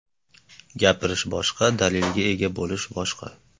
Gapirish boshqa, dalilga ega bo‘lish boshqa”.